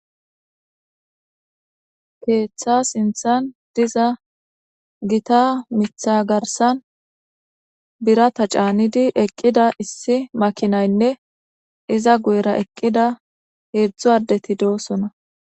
Keeththa sinthan diza gita mitha garsan birata caanidi eqqida issi makinaynne iza guyera eqqida heedzdzu addeti do'osona.